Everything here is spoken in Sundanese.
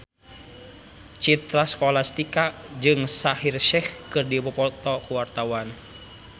Citra Scholastika jeung Shaheer Sheikh keur dipoto ku wartawan